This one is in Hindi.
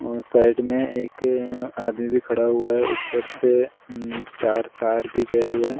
साइड में एक आदमी भी खड़ा हुआ है ऊपर से चार तार भी गया हुआ है ।